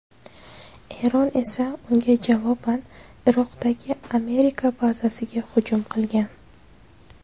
Eron esa unga javoban Iroqdagi Amerika bazasiga hujum qilgan .